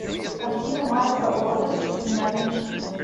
картина марка уотерса криминальное чтиво